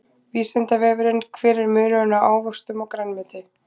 Vísindavefurinn: Hver er munurinn á ávöxtum og grænmeti?